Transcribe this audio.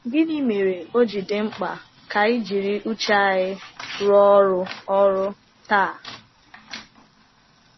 Gịnị mere o ji dị mkpa ka anyị jiri uche anyị rụọ ọrụ ọrụ taa?